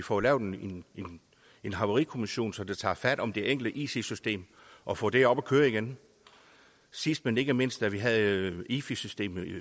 får lavet en havarikommission som tager fat om det enkelte it system og får det op at køre igen sidst men ikke mindst havde vi jo efi systemet